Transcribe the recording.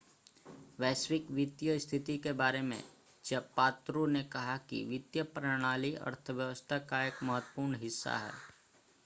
वैश्विक वित्तीय स्थिति के बारे में ज़ापात्रो ने कहा कि वित्तीय प्रणाली अर्थव्यवस्था का एक महत्वपूर्ण हिस्सा है